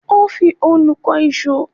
Ó fi òòlù kan ìṣọ́